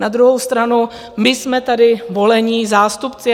Na druhou stranu my jsme tady volení zástupci.